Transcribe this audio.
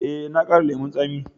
Eh, na ƙara lemun tsami.